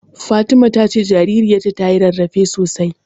Fatima ta ce jaririyarta tayi rarrafe sosai.